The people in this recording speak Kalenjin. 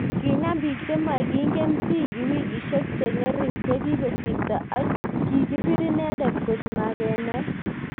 Kinam bik chemagingen Ziggy wikishek chengerik chekikosirto ,ak kigipir inendet kot magenae